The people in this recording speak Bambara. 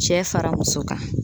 Cɛ fara muso kan